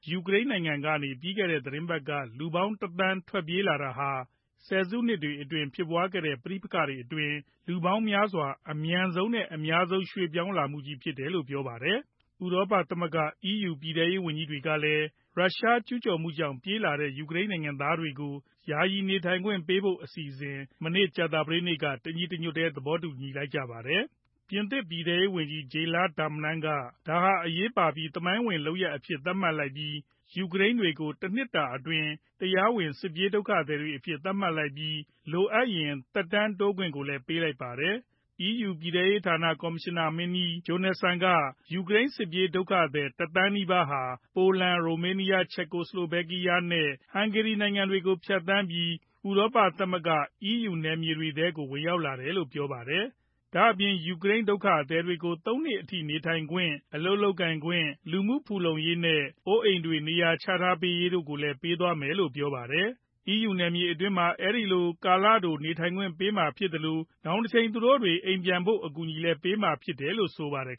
ယူကရိန်းနိုင်ငံကနေ ပြီးခဲ့တဲ့ သီတင်းပတ်ထဲ လူပေါင်း ၁ သန်းလောက် ထွက်ပြေးလာကြတဲ့ဖြစ်ရပ်ဟာ ဆယ်စုနှစ်တွေအတွင်း ဖြစ်ပွားခဲ့ကြတဲ့ ပဋိပက္ခတွေထဲမှာ လူ အများဆုံးနဲ့ အလျှင်အမြန် ရွှေ့ပြောင်းမှုကြီးဖြစ်တယ်လို ကုလသမဂ္ဂ ဒုက္ခသည်များဆိုင်ရာ မဟာမင်းကြီးရုံး UNHCR က ပြောကြားလိုက်ပါတယ်။ ဥရောပသမဂ္ဂ EU ပြည်ထဲရေးဝန်ကြီးတွေကလည်း ရုရှားကျူးကျော်မှုကြောင့် ပြေးလာကြတဲ့ ယူကရိန်း နိုင်ငံသားတွေကို ယာယီနေထိုင်ခွင့်ပေးဖို့ အစီအစဉ်ကို ကြာသပတေးနေ့က တညီတညွတ်တည်း သဘောတူ လိုက်ကြတာပါ။ ပြင်သစ်ပြည်ထဲရေးဝန်ကြီး Gerald Darmanin က ဒါဟာ အရေးပါပြီး သမိုင်းဝင် ဆုံးဖြတ်ချက်အဖြစ် သတ်မှတ်လိုက်ပြီး ယူကရိန်းတွေကို တနှစ်တာအတွင်း တရားဝင် စစ်ပြေးဒုက္ခသည်တွေအဖြစ် သတ်မှတ်လိုက်ပါတယ်။ လိုအပ်ရင် သက်တမ်းတိုးခွင့်ကိုလည်း ပေးလိုက်ပါတယ်။ EU ပြည်ထဲရေးဌာန ကော်မရှင်နာမင်းကြီး Johansson က ယူကရိန် စစ်ပြေးဒုက္ခသည် တသန်းနီးပါးဟာ ပိုလန်၊ ရိုမေးနီးယား၊ ဆလိုဗက်ကီးယား နဲ့ ဟန်ဂေရီနိုင်ငံတွေကို ဖြတ်သန်းပြီး ဥရောပသမဂ္ဂ EU နယ်မြေတွေထဲကို ဝင်ရောက်လာတယ်လို့ပြောပါတယ်။ ဒါ့အပြင် ယူကရိန်း ဒုက္ခသည်တွေကို သုံးနှစ်အထိ နေထိုင်ခွင့် ၊ အလုပ်လုပ်ကိုင်ခွင့်၊ လူမှုဖူလုံရေးနဲ့ အိုးအိမ်နေရာချထားပေးရေး တို့ကိုလည်း လုပ်ဆောင်ပေးသွားမယ်လို့ ဆိုပါတယ်။ EU နယ်မြေအတွင်းမှာ အဲဒီလို ကာလတို နေထိုင်ခွင့်ပေးမှာဖြစ်သလို နောင်တချိန် သူတို့တွေ အိမ်ပြန်နိုင်ဖို့ကိုလည်း အကူအညီပေးမှာ ဖြစ်တယ်လို့ ဆိုပါတယ်